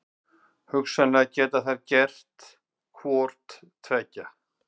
Hugsanlega geta þær gert hvort tveggja.